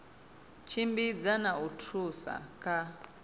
tshimbidza na u thusa kha